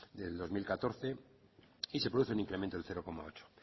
del dos mil catorce y se produce un incremento del cero coma ocho